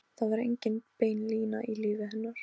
Það var engin bein lína í lífi hennar.